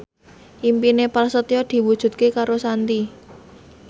impine Prasetyo diwujudke karo Shanti